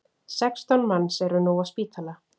Sextán manns eru nú á spítala